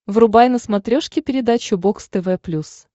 врубай на смотрешке передачу бокс тв плюс